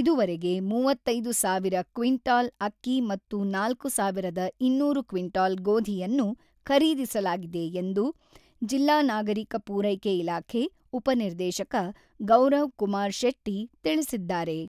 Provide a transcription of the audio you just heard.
ಇದುವರೆಗೆ ಮೂವತ್ತೈದು ಸಾವಿರ ಕ್ವಿಂಟಾಲ್ ಅಕ್ಕಿ ಮತ್ತು ನಾಲ್ಕು ಸಾವಿರದ ಇನ್ನೂರು ಕ್ವಿಂಟಾಲ್ ಗೋಧಿಯನ್ನು ಖರೀದಿಸಲಾಗಿದೆ ಎಂದು ಜಿಲ್ಲಾ ನಾಗರಿಕ ಪೂರೈಕೆ ಇಲಾಖೆ ಉಪ ನಿರ್ದೇಶಕ ಗೌರವ್‌ಕುಮಾರ್ ಶೆಟ್ಟಿ ತಿಳಿಸಿದ್ದಾರೆ.